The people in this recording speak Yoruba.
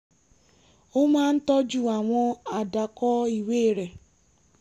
ó máa ń tọ́jú àwọn àdàkọ́ ìwé rẹ̀